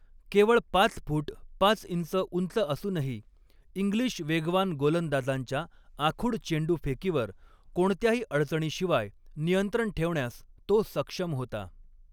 केवळ पाच फूट पाच इंच उंच असूनही, इंग्लिश वेगवान गोलंदाजांच्या आखूड चेंडूफेकीवर कोणत्याही अडचणीशिवाय नियंत्रण ठेवण्यास तो सक्षम होता.